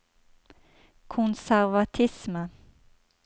konservatisme